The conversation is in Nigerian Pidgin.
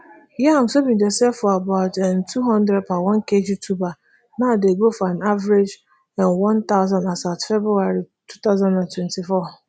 yams wey bin dey sell for about ntwo hundred per onekg tuber now dey go for an average none thousand as at february two thousand and twenty-four